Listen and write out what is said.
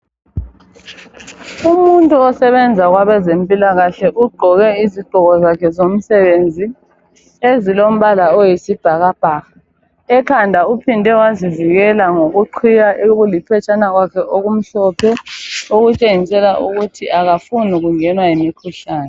Umuntu osebenza kwabazempilakahle ugqoke izigqoko zakhe zomsebenzi ezilombala oyisibhakabhaka Ekhanda uphinde wazivikela ngokuqhiya okuliphetshana kwakhe okumhlophe okutshengisela ukuthi akafuni ukungenwa yimikhuhlane